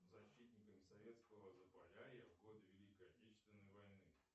защитникам советского заполярья в годы великой отечественной войны